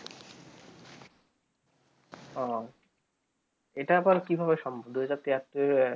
উহ এইটা আবার কি ভাবে সম্ভব দুই হাজার তিহাত্তর